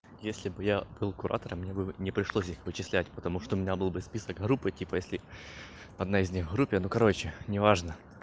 если бы я был куратором я бы не пришлось их вычислять потому что у меня был бы список группы типа если одна из них группе ну короче неважно